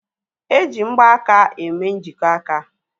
Eji mgbaaka eme njikọ aka